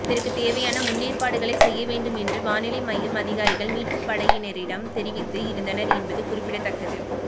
இதற்கு தேவையான முன்னேற்பாடுகளை செய்ய வேண்டும் என்று வானிலை மையம் அதிகாரிகள் மீட்பு படையினரிடம் தெரிவித்து இருந்தனர் என்பது குறிப்பிடத்தக்கது